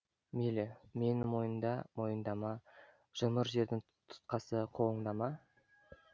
мейлі мені мойында мойындама жұмыр жердің тұтқасы қолыңда ма